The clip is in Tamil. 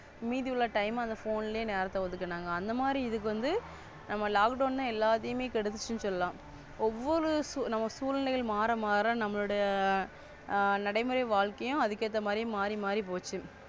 மீதியுள்ள Time அந்த Phone நேரத்தை ஒதுக்குனாங்க அந்த மாதிரி இது வந்து நம்ம Lockdown எல்லாத்தையும் கெடுத்துச்சுனு சொல்லலாம். ஒவ்வொரு நம்ம சூழ்நிலைகள் மாற மாற நமளோடயா நடைமுறை வாழ்க்கையும் அதுக்கு ஏத்த மாதிரி மாறி மாறி போச்சு.